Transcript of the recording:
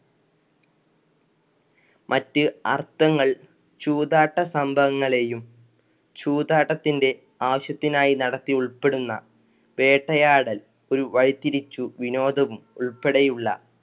മറ്റു അർഥങ്ങൾ ചൂതാട്ട സംഭവങ്ങളെയും ചൂതാട്ടത്തിന്‍ടെ ആവശ്യത്തിനായി നടത്തി ഉള്‍പ്പെടുന്ന വേട്ടയാടൽ ഒരു വഴിതിരിച്ച് വിനോദവും ഉൾപ്പടെയുള്ള